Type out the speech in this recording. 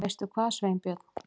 Veistu hvað, Sveinbjörn?